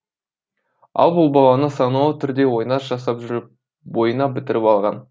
ал бұл баланы саналы түрде ойнас жасап жүріп бойына бітіріп алған